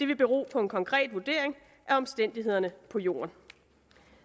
vil bero på en konkret vurdering af omstændighederne på jorden